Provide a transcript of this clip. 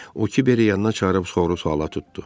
O Kiberi yanına çağırıb, sorğu-suala tutdu.